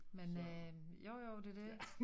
Men øh jo jo det det